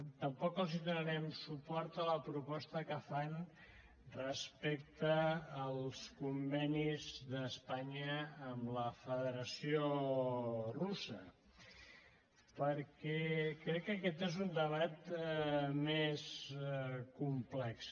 tampoc els donarem suport en la proposta que fan respecte als convenis d’espanya amb la federació russa perquè crec que aquest és un debat més complex